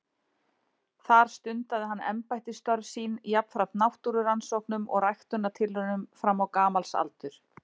Þar stundaði hann embættisstörf sín jafnframt náttúrurannsóknum og ræktunartilraunum fram á gamals aldur.